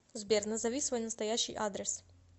сбер назови свой настоящий адрес